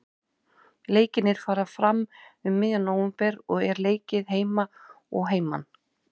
Leikirnir fara fram um miðjan nóvember og er leikið heima og heiman.